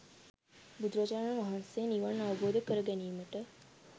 බුදුරජාණන් වහන්සේ නිවන් අවබෝධ කර ගැනීමට